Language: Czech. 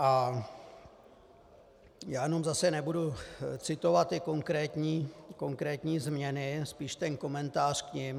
A já jenom zase nebudu citovat ty konkrétní změny, spíš ten komentář k nim.